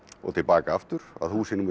og til baka aftur að húsi númer